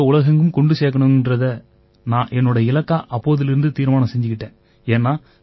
வேத கணிதத்தை உலகெங்கும் கொண்டு சேர்க்கணுங்கறதை நான் என்னோட இலக்கா அப்போதிலிருந்து தீர்மானம் செஞ்சுக்கிட்டேன்